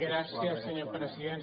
gràcies senyor president